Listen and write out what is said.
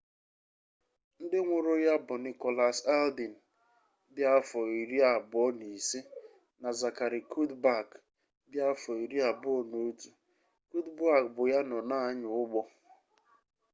ndị nwụrụ na ya bụ nicholas alden dị afọ 25 na zachary cuddeback dị afọ 21 cuddeback bụ ya nọ na-anya ụgbọ